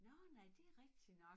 Nårh nej det rigtig nok